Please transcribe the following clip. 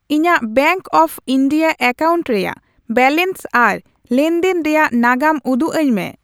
ᱤᱧᱟᱜ bank of India account ᱨᱮᱭᱟᱜ balance ᱟᱨ ᱞᱮᱱᱫᱮᱱ ᱨᱮᱭᱟᱜ ᱱᱟᱜᱟᱢ ᱩᱫᱩᱜ ᱟᱹᱧ ᱢᱮ ᱾